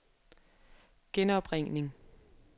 genopringning